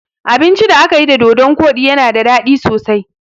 Abincin da akayi da dodon koɗi yana daɗi sosai